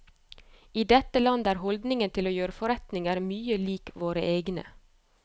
I dette landet er holdningen til å gjøre forretninger mye lik våre egne.